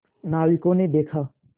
नाविकों ने देखा